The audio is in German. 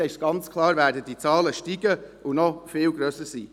Es ist ganz klar, dann werden diese Zahlen steigen und noch viel höher sein.